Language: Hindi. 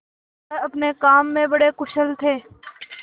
वह अपने काम में बड़े कुशल थे